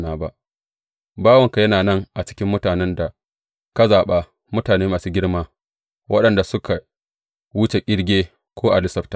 Bawanka yana nan a cikin mutanen da ka zaɓa, mutane masu girma, waɗanda suka wuce ƙirge, ko a lissafta.